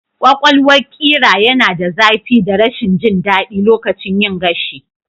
Ƙwaƙwalwar ƙira yana da zafi da rashin jin daɗi lokacin yin gashi